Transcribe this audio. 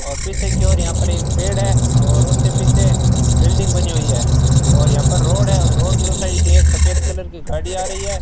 और पीछे की ओर यहां पर एक पेड़ है और उसके पीछे बिल्डिंग बनी हुई है और यहां पर रोड है रोड के उस साइड एक सफेद कलर की गाड़ी आ रही है।